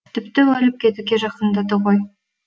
тіпті өліп кетуге жақындады ғой